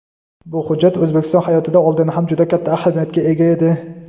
Bu hujjat O‘zbekiston hayotida oldin ham juda katta ahamiyatga ega edi.